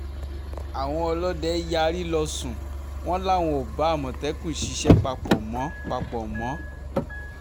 àwọn ọlọ́dẹ yarí lọ́sùn wọn làwọn ò bá àmọ̀tẹ́kùn ṣiṣẹ́ papọ̀ mọ́ papọ̀ mọ́